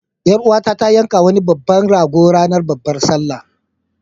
Ƴar uwata ta yanka wani babban rago ranar babbar sallah.